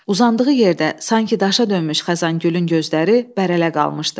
Uzandığı yerdə sanki daşa dönmüş Xəzəngülün gözləri bərələ qalmışdı.